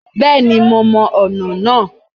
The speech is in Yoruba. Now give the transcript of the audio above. Bẹ́ẹ̀ni mo mọ ọ̀nà náà